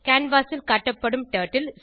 canvas ல் காட்டப்படும் turtle